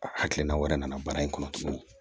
A hakilina wɛrɛ nana baara in kɔnɔ